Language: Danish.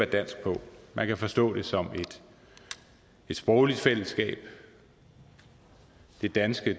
dansk på man kan forstå det som et sprogligt fællesskab det danske